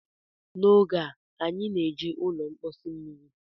N'oge a, anyị na-eji ụlọ mposi mmiri